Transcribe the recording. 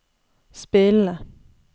spillende